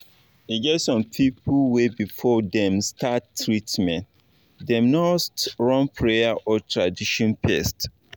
e get some people wey before dem start treatment them nust run prayer or tradition fes